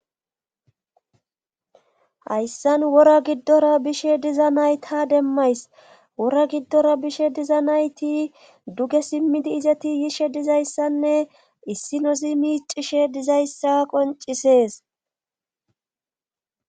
hayssan wora giddora bishe diza nayta demmays wora giddora bishe diza nayti duge simmidi izati yishe dizayssanne issi nozi miicishe dizayssa qoncisees